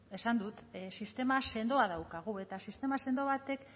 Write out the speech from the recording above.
esan dut sistema sendoa daukagu eta sistema sendo batek